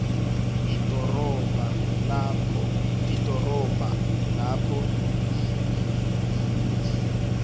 idorobha lapho ibhizinisi